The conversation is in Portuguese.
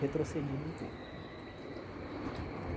Retrocedido um pouco. Né então é